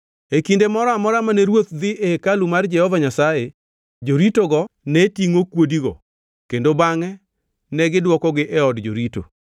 E kinde moro amora mane ruoth dhi e hekalu mar Jehova Nyasaye, joritogo ne tingʼo kuodigo kendo bangʼe negidwokogi e od jorito.